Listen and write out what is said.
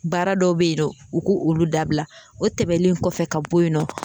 Baara dɔw bɛ yen nɔ u k'olu dabila o tɛmɛnen kɔfɛ ka bɔ yen nɔ